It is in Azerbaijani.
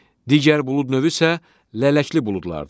Digər bulud növü isə lələkli buludlardır.